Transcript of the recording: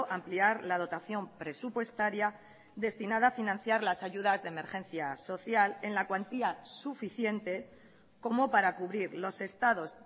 ampliar la dotación presupuestaria destinada a financiar las ayudas de emergencia social en la cuantía suficiente como para cubrir los estados